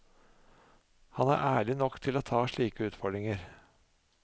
Han er ærlig nok til å ta slike utfordringer.